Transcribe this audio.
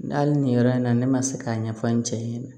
Hali nin yɔrɔ in na ne ma se k'a ɲɛfɔ n cɛ ɲɛna